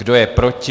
Kdo je proti?